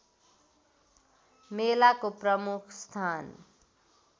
मेलाको प्रमुख स्थान